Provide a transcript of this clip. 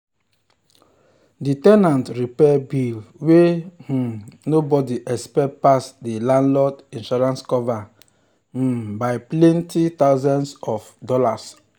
the ten ant repair bill wey um nobody expect pass the landlord insurance cover um by plenty thousands of dollars.